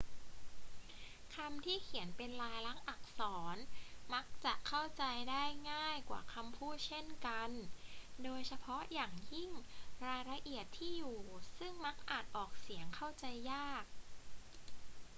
คำที่เขียนเป็นลายลักษณ์อักษรมักจะเข้าใจได้ง่ายกว่าคำพูดเช่นกัน โดยเฉพาะอย่างยิ่งรายละเอียดที่อยู่ ซึ่งมักอ่านออกเสียงเข้าใจยาก